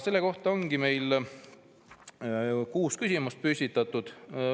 Selle kõige kohta ongi meil kuus küsimust püstitatud.